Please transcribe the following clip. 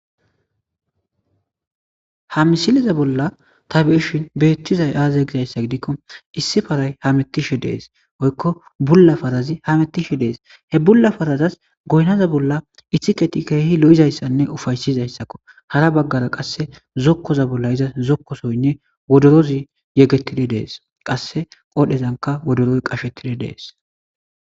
Ha misilezan bollan ta be'ashe betizays azegiko issi paray hametishe de'es woyiko bula parazi hametishe de'es he bula parazi goyinaza bolla ikiseti kehi lo'izaysanee upayiszaysako hara bagara qasi zokoza bolla iza wodorozi yegetidi de'es qasika qodhezanka wodoroy qashetidi de'es